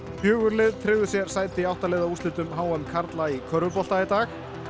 fjögur lið tryggðu sér sæti í átta liða úrslitum h m karla í körfubolta í dag